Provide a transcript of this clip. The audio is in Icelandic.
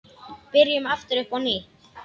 Byrjum aftur upp á nýtt.